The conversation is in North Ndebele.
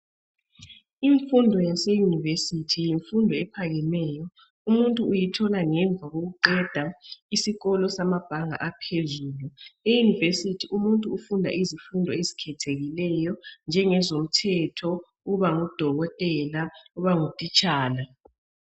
Imfundo yase university yimfundo ephakemeyo. Umuntu uyithola ngemva kokuqeda isikolo samabhanga aphezulu. EUniversity umuntu ufunda izifundo ezikhethekileyo njengezomthetho, ukuba ngudokotela lokuba ngutitshala.